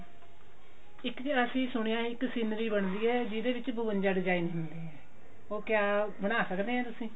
ਇਕ ਜੀ ਅਸੀਂ ਸੁਣਿਆ ਹੈ ਇੱਕ scenery ਬਣਦੀ ਹੈ ਜਿਹਦੇ ਵਿੱਚ ਬਵੰਜਾ design ਹੁੰਦੇ ਆ ਉਹ ਕਿਆ ਬਣਾ ਸਕੇ ਹੋ ਤੁਸੀਂ